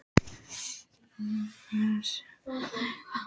Ríkir aftur óvissa um kjarasamningana?